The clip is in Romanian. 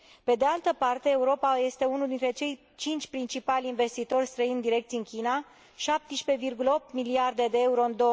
Pe de altă parte, Europa este unul dintre cei cinci principali investitori străini direcți în China 17,8 miliarde de euro în